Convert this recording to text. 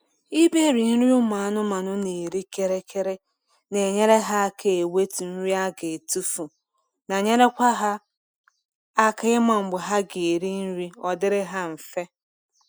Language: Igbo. ịberi nri ụmụ anụmanụ na eri kịrịkịrị na enyere aka ewetu nri aga atufu na nyekwara ha aka ịma mgbe ha ga eri nri odiri ha mfề